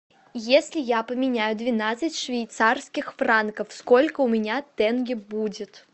если я поменяю двенадцать швейцарских франков сколько у меня тенге будет